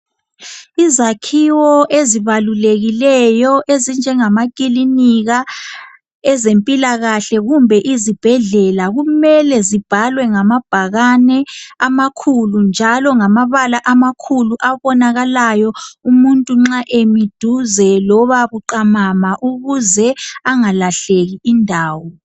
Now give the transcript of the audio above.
Izakhiwo ezibalulekileyo ezinjengamakilinika ezempilakahle kumbe izibhedlela kumele zibhalwe ngamabhakane amakhulu njalo ngamabala amakhulu abonakalayo umuntu nxa emi duze loba buqamama ukuze angalahleki indawo.